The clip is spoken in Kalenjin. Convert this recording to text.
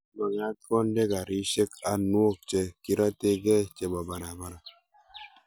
magat konde garishek anwok che kirategei chebo barabara